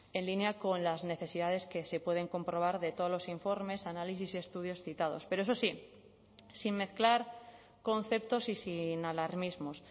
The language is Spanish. en línea con las necesidades que se pueden comprobar de todos los informes análisis y estudios citados pero eso sí sin mezclar conceptos y sin alarmismos